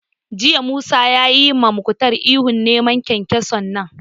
Jiya Musa ya ma Muktar ihu 'Nemo kyankyason nan'!